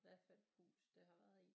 Hvad for et hus det har været i